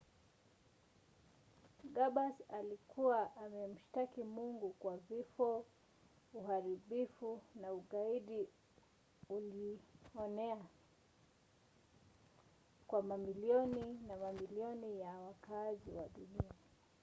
ghambers alikuwa amemshtaki mungu kwa vifo uharibifu na ugaidi uilioenea wa mamilioni ya mamilioni ya wakaazi wa dunia.